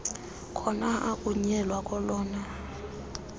khona athunyelwe kolona